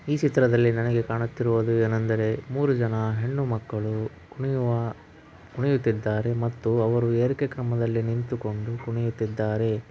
ಈ ಚಿತ್ರದಲ್ಲಿ ನನಗೆ ಕಾಣತ್ತಿರುವುದು ಏನೆಂದರೆ ಮೂರು ಜನ ಹೆಣ್ಣು ಮಕ್ಕಳು ಕುಣಿಯುವ ಕುಣಿಯುತ್ತಿದ್ದಾರೆ ಮತ್ತು ಅವರು ಏರಿಕೆ ಕ್ರಮದಲ್ಲಿ ನಿಂತುಕೊಂಡು ಕುಣಿಯುತ್ತಿದ್ದಾರೆ .